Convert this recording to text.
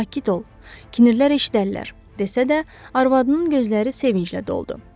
Sakit ol, kinirlər eşidərlər, desə də, arvadının gözləri sevinclə doldu.